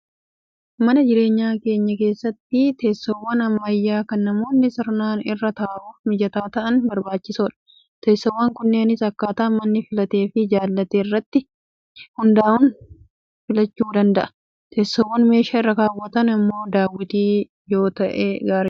Mana jireenyaa keenya keessatti teessoowwan ammayyaa kan namoonni sirnaan irra taa'uuf mijataa ta'an barbaachisoodha. Teessoowwan kunneenis akkaataa namni filatee fi jaallate irratti hundaa'uun filachuu danda'a. Teessoon meeshaa irra kaawwatan immoo daawwitii yoo ta'e gaariidha.